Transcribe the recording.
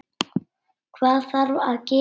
Hvað þarf að gera?